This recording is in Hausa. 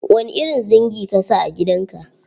Wani irin zingi ka sa a gidan ka?